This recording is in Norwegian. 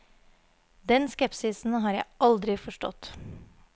Den skepsisen har jeg aldri forstått.